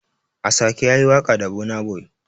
Ashake yayi waƙa da burns boy.